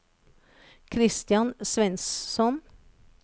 Christian Svensson